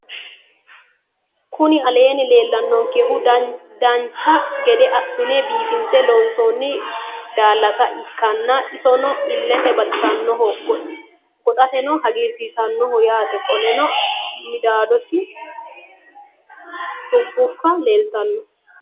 Kuni aleeni leelaninonikehu danicha gede asinena biifinise loonisoni daalasa ikana isino ilete baxisanoho goxateno hagirisisanoho yaate qoleno midadosini dukubba leelitano